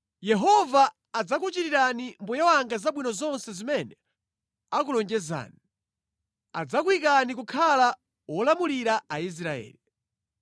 Yehova adzakuchitirani mbuye wanga zabwino zonse zimene anakulonjezani. Adzakuyikani kukhala wolamulira Aisraeli.